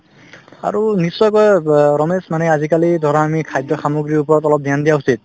আৰু নিশ্চয়কৈ ৰ ৰমেশ মানে আজিকালি ধৰা আমি খাদ্য সামগ্ৰীৰ ওপৰত অলপ dhyan দিয়া উচিত